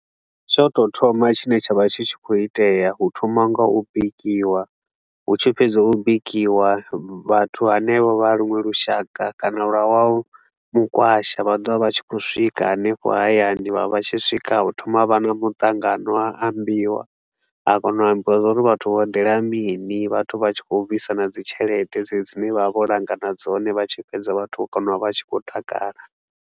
Tsha u tou thoma tshine tsha vha tshi tshi khou itea, hu thoma nga u bikiwa. Hu tshi fhedzwa u bikiwa, vhathu hanevho vha luwe lushaka kana lwa wa mukwasha, vha ḓo vha vha tshi khou swika hanefho hani hayani, vha vha tshi swika hu thoma ha vha na muṱangano, ha ambiwa. Ha kona u ambiwa zwa uri vhathu vho dela mini, vhathu vha tshi khou bvisa na dzi tshelede, dzedzi dze vha vha vho langana dzone, vha tshi fhedza vhathu vha kona u vha vha tshi khou takala.